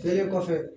Elen kɔfɛ